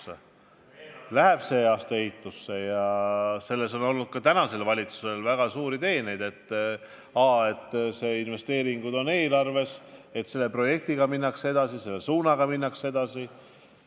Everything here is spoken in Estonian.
See läheb sel aastal ehitusse ja selles on olnud ka tänasel valitsusel väga suuri teeneid, et need investeeringud on eelarves, et selle projektiga minnakse edasi, et selles suunas minnakse edasi.